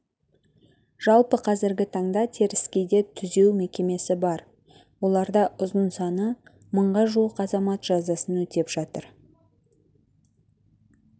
жалпы қазіргі таңда теріскейде түзеу мекемесі бар оларда ұзын саны мыңға жуық азамат жазасын өтеп жатыр